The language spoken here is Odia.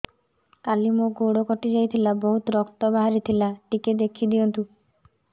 କାଲି ମୋ ଗୋଡ଼ କଟି ଯାଇଥିଲା ବହୁତ ରକ୍ତ ବାହାରି ଥିଲା ଟିକେ ଦେଖି ଦିଅନ୍ତୁ